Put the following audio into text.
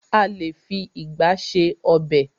A lé fi ìgba ṣe ọb|.